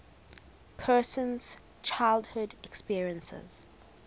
person's childhood experiences